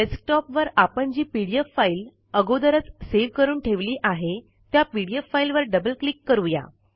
डेस्कटॉपवर आपण जी पीडीएफ फाईल अगोदरच सेव्ह करून ठेवली आहे त्या पीडीएफ फाईल वर डबल क्लिक करू या